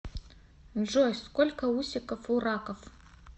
джой сколько усиков у раков